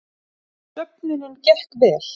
Söfnunin gekk vel